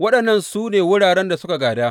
Waɗannan su ne wuraren da suka gāda.